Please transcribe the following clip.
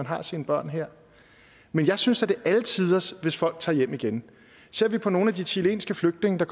har sine børn her men jeg synes da det er alle tiders hvis folk tager hjem igen ser vi på nogle af de chilenske flygtninge der